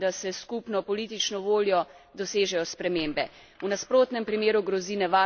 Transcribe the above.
V nasprotnem primeru grozi nevarnost obračanja državljanov proti nacionalistični retoriki.